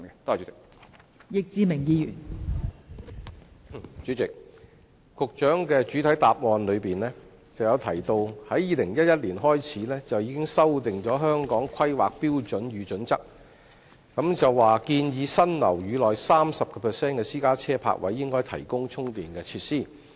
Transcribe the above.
代理主席，局長在主體答覆中提到 ，2011 年已經修訂《香港規劃標準與準則》，建議新建樓宇內 30% 的私家車泊位應提供充電設施。